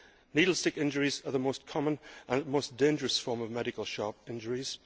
Needle stick injuries are the most common and most dangerous form of medical sharp injuries.